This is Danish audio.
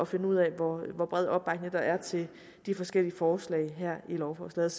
finde ud af hvor bred opbakning der er til de forskellige forslag her i lovforslaget